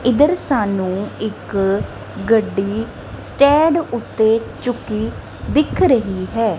ਇੱਧਰ ਸਾਨੂੰ ਇੱਕ ਗੱਡੀ ਸਟੈਂਡ ਓੱਤੇ ਚੁੱਕੀ ਦਿੱਖ ਰਹੀ ਹੈ।